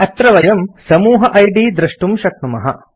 अत्र वयं समूह इद् दृष्टुं शक्नुमः